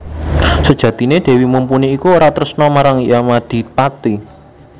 Sejatiné Dèwi Mumpuni iku ora tresna marang Yamadipati